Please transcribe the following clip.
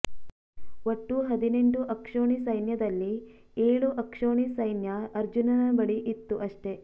ಒಟ್ಟು ಹದಿನೆಂಟು ಅಕ್ಷೋಣಿ ಸೈನ್ಯದಲ್ಲಿ ಏಳು ಅಕ್ಷೋಣಿ ಸೈನ್ಯ ಅರ್ಜುನನ ಬಳಿ ಇತ್ತು ಅಷ್ಟೇ